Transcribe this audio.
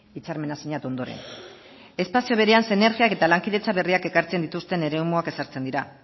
hitzarmena sinatu ondoren espazio berean sinergiak eta lankidetza berriak ekartzen dituzten eremuak ezartzen dira